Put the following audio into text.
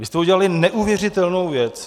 Vy jste udělali neuvěřitelnou věc.